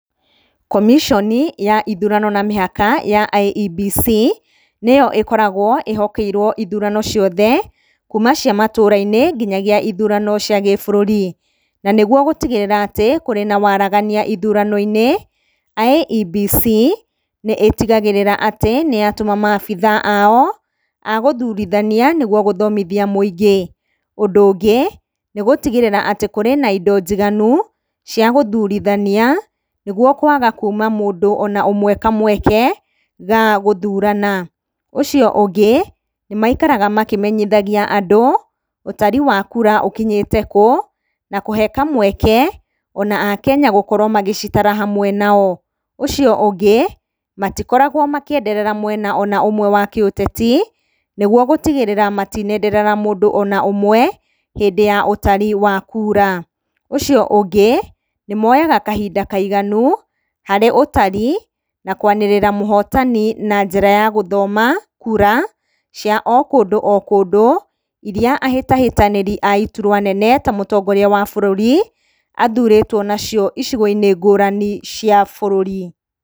Komiconi ya ithurano na mĩhaka ya IEBC nĩyo ĩkoragwo ĩhokeirwo ithurano ciothe, kuma cia matũra-inĩ nginyagia ithurano cia gĩbũrũri. Na nĩguo gũtigĩrĩra atĩ kũrĩ na waragania ithurano-inĩ, IEBC nĩĩtigarĩrĩra atĩ nĩyatũma maabitha ao a gũthurithania nĩ getha gũthomithia mũingĩ. Ũndũ ũngĩ, nĩ gũtigĩrĩra atĩ kurĩ na indo njiganu cia gũthurithania nĩguo kwaga kũima mũndũ ona ũmwe kamweke ga gũthurana. Ũcio ũngĩ, nĩ maikaraga makĩmenyithagia andũ ũtari wa kura ũkinyĩte kũ, na kũhe kamweke ona Akenya gũkorwo magĩcitara hamwe nao. Ũcio ũngĩ, matikoragwo makĩenderera mwena ona ũmwe wa kĩũteti, nĩguo gũtigĩrĩra matinenderera mũndũ ona ũmwe, hĩndĩ ya ũtari wa kura. Ũcio ũngĩ, nĩ moyaga kahinda kaiganu harĩ ũtari na kwanĩrĩra mũhotani na njĩra ya gũthoma kura cia o kũndũ o kũndũ iria ahĩtahĩtanĩri a iturwa nene ta mũtongoria wa bũrũri athurĩtwo nacio icigo-inĩ ngũrani cia bũrũri.